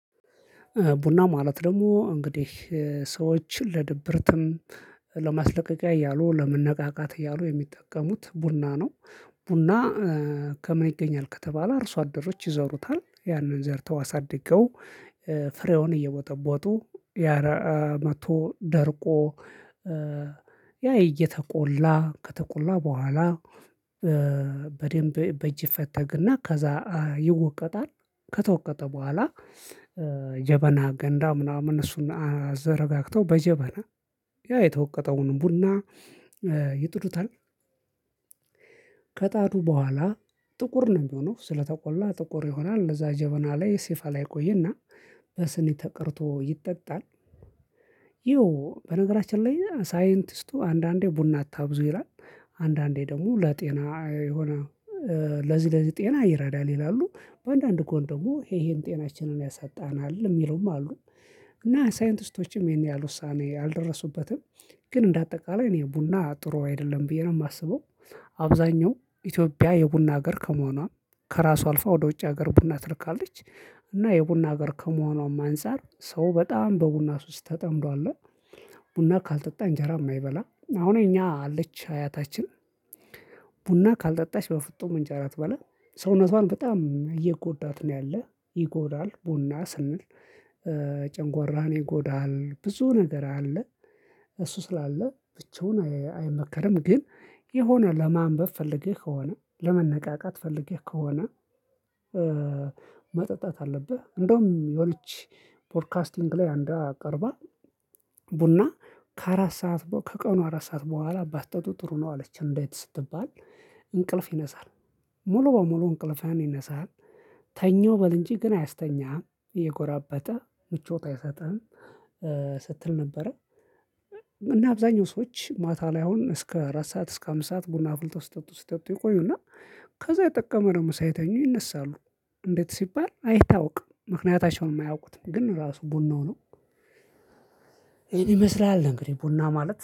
ቡና ማለት ደግሞ እንግዲህ ሰዎችን ለድብርትም ለማስለቀቂያ እያሉ ለመነቃቃት እያሉ የሚጠቀሙት ቡና ነው። ቡና ከምን ይገኛል ከተባለ እርሶ አደሮች ይዘሩታል ያንን ዘርተው አሳድገው ፍሬውን እየቦጠቦጡ ያረአ መጥቶ ደርቆ ያ እየተቆላ ከተቆላ በኋላ በደንብ በእጅ ይፈተግና ከዛ ይወቀጣል ከተወቀጠ በኋላ ጀበና ገንዳ ምናምን እሱን አዘረጋግተው በጀበና ያ የተወቀጠውን ቡና ይጥዱታል። ከጣዱ በኋላ ጥቁር ነው የሚሆነው ስለተቆላ ጥቁር ይሆናል ለዛ ጀበና ላይ ሲፋላ ይቆየና በስኒ ተቀድቶ ይጠጣል። ይኸው በነገራችን ላይ ሳይንቲስቱ አንዳንዴ ቡና አታብዙ ይላል አንዳንዴ ደግሞ ለጤና የሆነ ለዚህ ለዚህ ጤና ይረዳል ይላሉ በአንዳንድ ጎንደሞ ይሄ ይሄን ጤናችንን ያሳጣናል የሚለውም አሉ እና ሳይንቲስቶችም ይሄን ያህል ውሳኔ አልደረሱበትም። ግን እንደ አጠቃላይ እኔ ቡና ጥሩ አይደለም ብዬ ነው የማስበው። አብዛኛው ኢትዮጵያ የቡና ሀገር ከመሆኗ ከራሷ አልፋ ወደ ውጭ ሀገር ቡና ትልካለች። እና የቡና ሀገር ከመሆኗም አንፃር ሰው በጣም በቡና ሱስ ተጠምዷል። ቡና ካልጠጣ እንጀራ የማይበላ አሁን እኛ አለች አያታችን ቡና ካልጠጣች በፍጡም እንጀራ አትበላም። ሰውነቷን በጣም እየጎዳት ነው ያለህ ይጎዳል ቡና ስንል። ይጎዳል ብዙ ነገር አለ። እሱ ስላለ ብቻውን አይመከርም ግን የሆነ ለማንበብ ፈልገህ ከሆነ ለመነቃቃት ፈልገህ ከሆነ። መጠጣት አለብህ እንደውም የሆነች ፖድካስቲንግ ላይ አንዷ አቅርባ ቡና ከአራት ሰዓት ከቀኑ አራት ሰዓት በኋላ ባጠጡ ጥሩ ነው አለች እንዴት ስትባል እንቅልፍ ይነሳል። ሙሉ በሙሉ እንቅልፍህን ይነሳል። ተኛወ በል እንጂ ግን አያስተኛህም እየጎራበጠ ምቾት አይሰጥህም። ስትል ነበረ። እና አብዛኛው ሰዎች ማታ ላይ አሁን እስከ አራት ሰዓት እስከ አምስት ሰዓት ቡና አፍልተው ሲጠጡ ሲጠጡ ይቆዩና ከዛ የጠቀመ ነው ደግሞ ሳይተኙ ይነሳሉ። እንዴት ሲባል አይታወቅም ምክንያታቸውን አያውቁትም ግን ራሱ ቡናው ነው። ይመስላል እንግዲህ ቡና ማለት